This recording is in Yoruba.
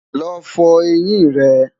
lọ fọ ẹyìn rè